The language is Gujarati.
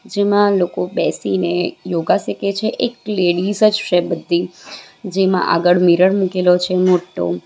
જેમાં લોકો બેસીને યોગા શીખે છે એક લેડીઝ જ છે બધી જેમાં આગળ મિરર મૂકેલો છે મોટ્ટો.